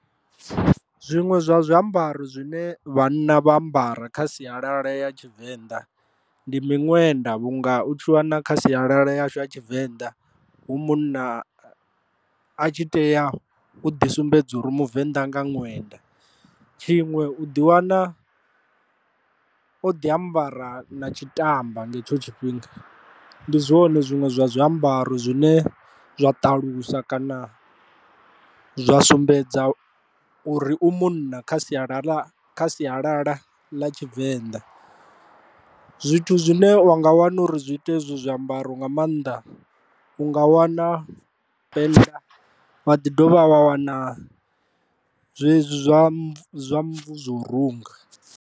Zwiṅwe zwa zwiambaro zwine vhanna vha ambara kha sialala ya tshivenḓa ndi miṅwenda vhunga u tshi wana kha sialala yashu ya tshivenḓa hu munna a tshi tea u ḓi sumbedza uri u muvenḓa nga ṅwenda, tshiṅwe u ḓi wana o ḓi ambara na tshitamba nga hetsho tshifhinga ndi zwone zwiṅwe zwa zwiambaro zwine zwa ṱalusa kana zwa sumbedza uri u munna kha sialala kha sialala ḽa tshivenḓa. Zwithu zwine wa nga wana uri zwi ite ezwo zwiambaro nga maanḓa u nga wana wa dovha wa wana zwezwi zwa mmvu zwo runga.